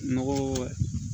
Nɔgɔ